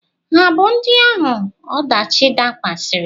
Ha abụ ndị ahụ ọdachi dakwasịrị?